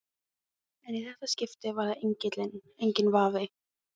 En í þetta skipti var það engillinn, enginn vafi.